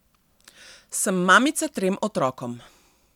Sem mamica trem otrokom.